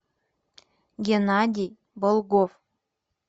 геннадий болгов